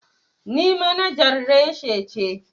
Ni manajar reshi ce.